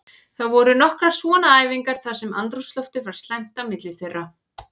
Það voru nokkrar svona æfingar þar sem andrúmsloftið var slæmt á milli þeirra.